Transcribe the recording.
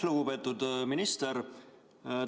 Lugupeetud minister!